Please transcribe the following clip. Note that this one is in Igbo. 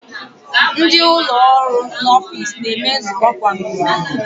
Ndị ụlọ ọrụ n'ọfiks na-eme nzukọ kwa mgbe.